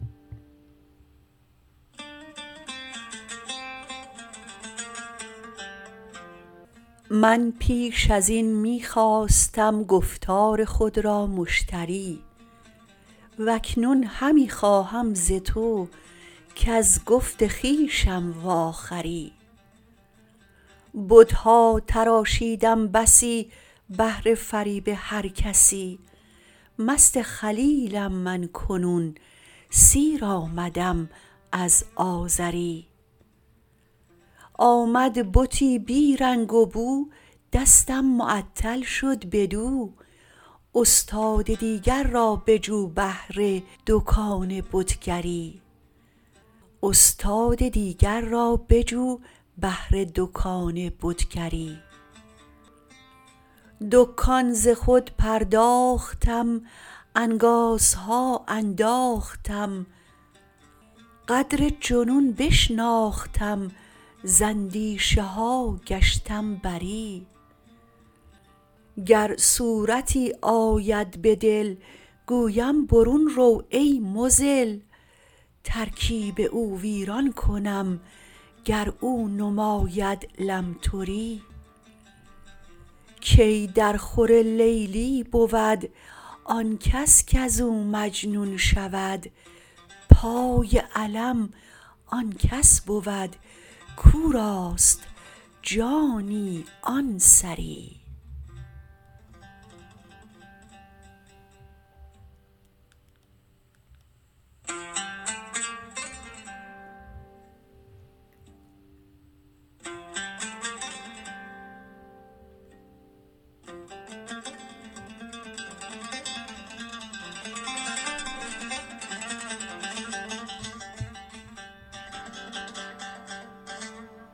من پیش از این می خواستم گفتار خود را مشتری و اکنون همی خواهم ز تو کز گفت خویشم واخری بت ها تراشیدم بسی بهر فریب هر کسی مست خلیلم من کنون سیر آمدم از آزری آمد بتی بی رنگ و بو دستم معطل شد بدو استاد دیگر را بجو بهر دکان بتگری دکان ز خود پرداختم انگازها انداختم قدر جنون بشناختم ز اندیشه ها گشتم بری گر صورتی آید به دل گویم برون رو ای مضل ترکیب او ویران کنم گر او نماید لمتری کی درخور لیلی بود آن کس کز او مجنون شود پای علم آن کس بود کو راست جانی آن سری